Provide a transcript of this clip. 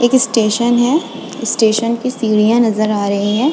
एक स्टेशन है स्टेशन की सीढ़ियां नज़र आ रही है।